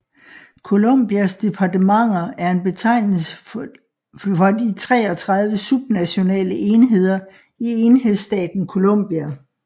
Colombias departementer er en betegnelse for de 33 subnationale enheder i enhedsstaten Colombia